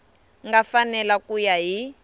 nga fanela ku ya hi